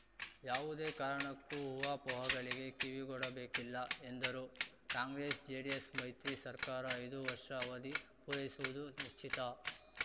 ಯಾವುದೇ ಕಾರಣಕ್ಕೂ ಊಹಾಪೋಹಗಳಿಗೆ ಕಿವಿಗೊಡಬೇಕಿಲ್ಲ ಎಂದರು ಕಾಂಗ್ರೆಸ್‌ಜೆಡಿಎಸ್‌ ಮೈತ್ರಿ ಸರ್ಕಾರ ಐದು ವರ್ಷ ಅವಧಿ ಪೂರೈಸುವುದು ನಿಶ್ಚಿತ